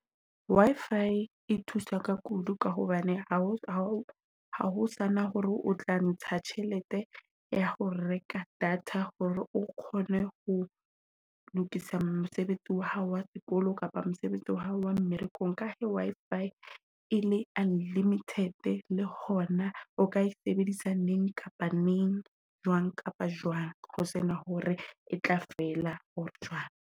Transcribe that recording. Wi-Fi e thusa ka kudu ka hobane hao sana hore o tla ntsha tjhelete ya ho reka data. Hore o kgone ho lokisa mosebetsi wa hao wa sekolo kapa mosebetsi wa hao wa mmerekong. Ka he Wi-fi e le unlimited le hona o ka e sebedisa neng kapa neng, jwang kapa jwang. Ho sena hore e tla fela or jwang.